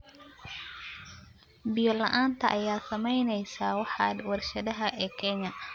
Biyo-la'aanta ayaa saameynaysa waaxda warshadaha ee Kenya.